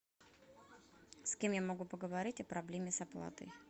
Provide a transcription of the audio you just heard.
с кем я могу поговорить о проблеме с оплатой